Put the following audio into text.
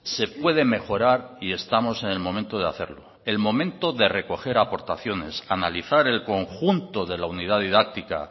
se puede mejorar y estamos en el momento de hacerlo el momento de recoger aportaciones analizar el conjunto de la unidad didáctica